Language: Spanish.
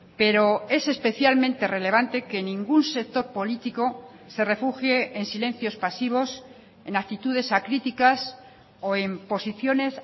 pero es especialmente relevante que ningún sector político se refugie en silencios pasivos en actitudes acríticas o en posiciones